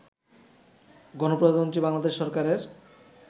গণপ্রজাতন্ত্রী বাংলাদেশ সরকারের